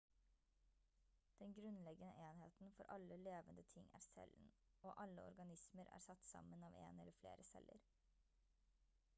den grunnleggende enheten for alle levende ting er cellen og alle organismer er satt sammen av en eller flere celler